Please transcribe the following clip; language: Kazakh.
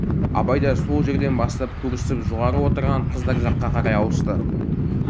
абай да сол жерден бастап көрісіп жоғары отырған қыздар жаққа қарай ауысты